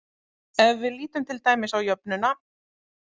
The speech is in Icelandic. Ef við lítum til dæmis á jöfnuna